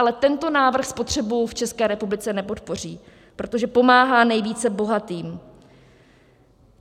Ale tento návrh potřebu v České republice nepodpoří, protože pomáhá nejvíce bohatým.